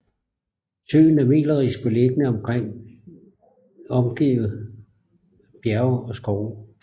Søen er melerisk beliggende omgivet af bjerge og skove